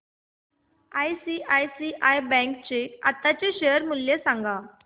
ICICI bank चे आताचे share मूल्य सांगा